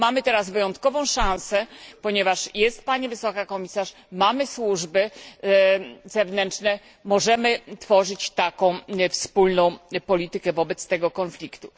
Mamy teraz wyjątkową szansę, ponieważ jest pani Wysoka Przedstawiciel, mamy służby zewnętrzne i możemy tworzyć taką wspólną politykę wobec tego konfliktu.